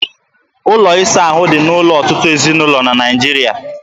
Ụlọ ịsa ahụ dị n'ụlọ ọtụtụ ezinụlọ na Naịjiria